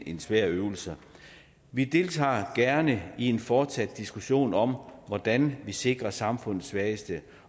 en svær øvelse vi deltager gerne i en fortsat diskussion om hvordan man sikrer samfundets svageste